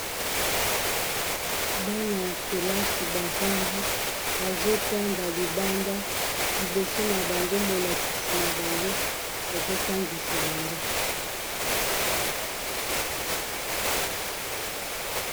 Bana ya kelasi bafandi bazotanga libanda liboso na bango molakisi na bango azotangisa bango.